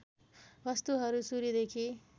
वस्तुहरू सूर्यदेखि